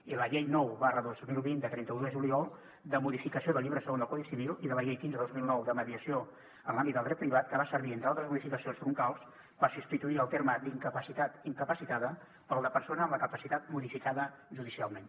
i la llei nou dos mil vint de trenta un de juliol de modificació del llibre segon del codi civil i la llei quinze dos mil nou de mediació en l’àmbit del dret privat que va servir entre altres modificacions troncals per substituir el terme incapacitat incapacitada pel de persona amb la capacitat modificada judicialment